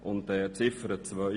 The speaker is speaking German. Zu Ziffer 2: